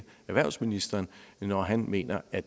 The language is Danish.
erhvervsministeren når han mener at